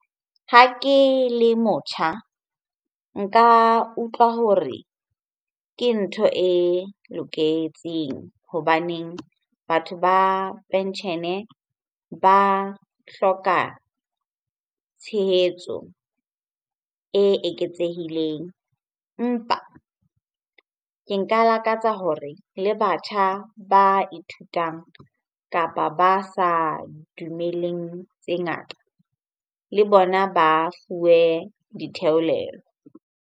Ha ke le motjha, nka utlwa hore ke ntho e loketseng hobaneng batho ba penshene ba hloka tshehetso e eketsehileng. Empa ke nka lakatsa hore le batjha ba ithutang kapa ba sa dumeleng tse ngata, le bona ba fuwe ditheolelo.